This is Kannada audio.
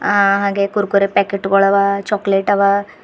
ಆ ಹಾಗೆ ಕುರ್ಕುರೆ ಪ್ಯಾಕೆಟ್ಗಳುವ ಚಾಕ್ಲೆಟ್ ಅವ.